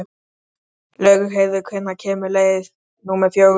Laugheiður, hvenær kemur leið númer fjögur?